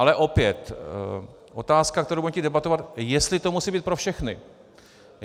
Ale opět otázka, kterou budeme chtít debatovat - jestli to musí být pro všechny.